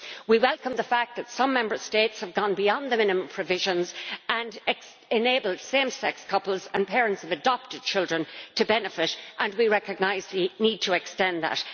We welcome the fact that some Member States have gone beyond the minimum provisions and enabled same sex couples, and parents of adopted children, to benefit and we recognise the need to extend that.